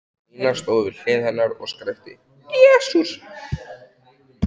Nína stóð við hlið hennar og skrækti: Jesús!